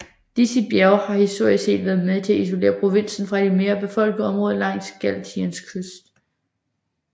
Disse bjerge har historisk set været med til at isolere provinsen fra de mere befolkede områder langs Galiciens kyst